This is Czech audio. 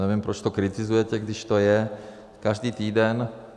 Nevím, proč to kritizujete, když to je každý týden.